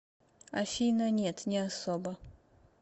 афина нет не особо